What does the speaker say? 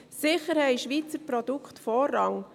Sicher haben Schweizer Produkte Vorrang.